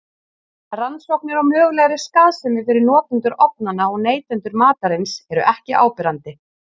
Rannsóknir á mögulegri skaðsemi fyrir notendur ofnanna og neytendur matarins eru ekki áberandi.